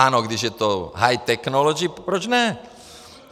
Ano, když je to high technology, proč ne?